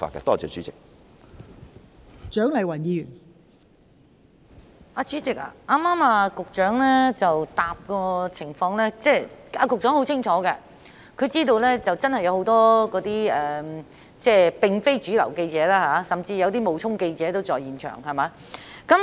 代理主席，局長剛才的答覆，顯示他很清楚有很多非主流媒體記者，甚至有些冒充記者的人在公眾活動現場。